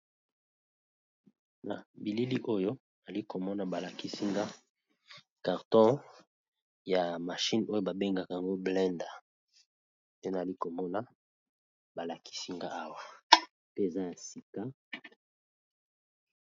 na bilili oyo ali komona balakisinga karton ya mashine oyo babengaka yango blander pe naali komona balakisinga awa pe eza ya sika